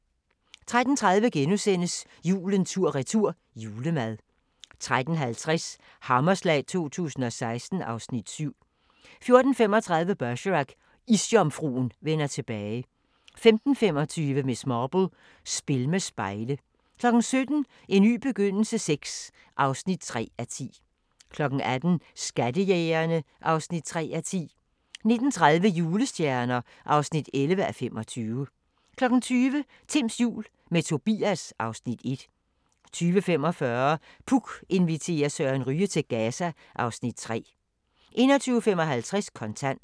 13:30: Julen tur-retur – julemad * 13:50: Hammerslag 2016 (Afs. 7) 14:35: Bergerac: Isjomfruen vender tilbage 15:25: Miss Marple: Spil med spejle 17:00: En ny begyndelse VI (3:10) 18:00: Skattejægerne (3:10) 19:30: Julestjerner (11:25) 20:00: Timms jul – med Tobias (Afs. 1) 20:45: Puk inviterer Søren Ryge til Gaza (Afs. 3) 21:55: Kontant